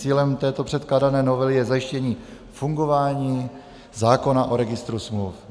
Cílem této předkládané novely je zajištění fungování zákona o registru smluv.